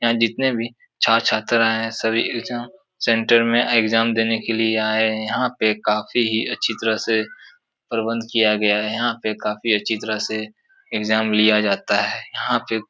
यहाँ पे जितने भी छात्र छात्रा हैंसभी एग्जाम सेंटर में एग्जाम देने क लिए आये हैं। यहाँ पे काफी ही अच्छी तरह से प्रबंध किया गया है। यहाँ पे काफी अच्छी तहर से एग्जाम लिया जाता है। यहाँ पे --